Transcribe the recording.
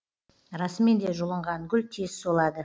расымен де жұлынған гүл тез солады